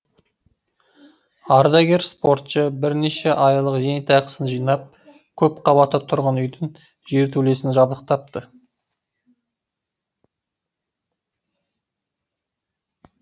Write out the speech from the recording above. ардагер спортшы бірнеше айлық зейнетақысын жинап көпқабатты тұрғын үйдің жертөлесін жабдықтапты